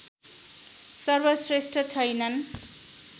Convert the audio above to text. सर्वश्रेष्ठ छैनन्